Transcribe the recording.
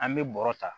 An bɛ bɔrɔ ta